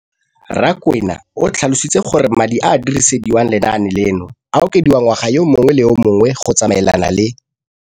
Rakwena o tlhalositse gore madi a a dirisediwang lenaane leno a okediwa ngwaga yo mongwe le yo mongwe go tsamaelana le.